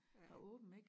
Har åbent ik